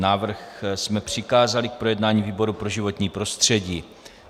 Návrh jsme přikázali k projednání výboru pro životní prostředí.